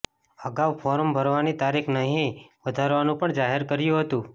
અગાઉ ફોર્મ ભરવાની તારીખ નહીં વધારવાનું પણ જાહેર કર્યું હતું